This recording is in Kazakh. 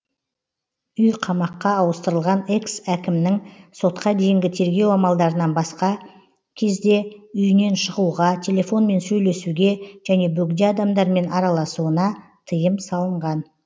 үй қамаққа ауыстырылған экс әкімнің сотқа дейінгі тергеу амалдарынан басқа кезде үйінен шығуға телефонмен сөйлесуге және бөгде адамдармен араласуына тыйым салынған